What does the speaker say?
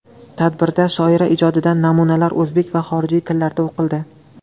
Tadbirda shoira ijodidan namunalar o‘zbek va xorijiy tillarda o‘qildi.